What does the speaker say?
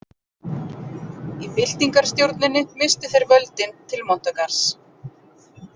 Í byltingarstjórninni misstu þeir völdin til Montagarðs.